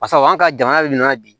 Basa anw ka jamana bɛ min na bi